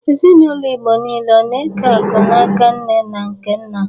Ezinaụlọ Igbo niile ọ na-eke akụ n'aka nne na nke nna?